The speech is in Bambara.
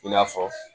I n'a fɔ